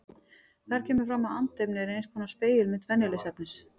Þar kemur fram að andefni er eins konar spegilmynd venjulegs efnis.